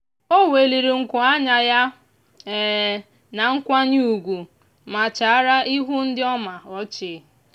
o weliri nku anya ya na nkwanye ugwu ma chịara ihu ndị ọ ma ọchị.